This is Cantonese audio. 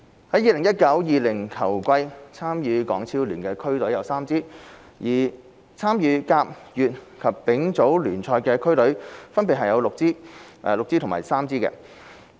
在 2019-2020 球季，參與港超聯的區隊有3支，而參與甲、乙及丙組聯賽的區隊分別有6支、6支及3支。